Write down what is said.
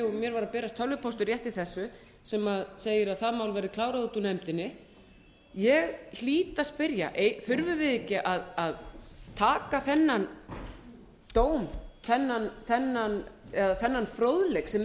og mér var að berast tölvupóstur rétt í þessu sem segir að það mál verði klárað út úr nefndinni ég hlýt að spyrja þurfum við ekki að taka þennan dóm eða þennan fróðleik sem er